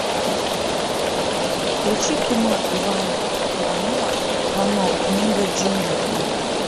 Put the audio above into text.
включи кино ивана иванова вано книга джунглей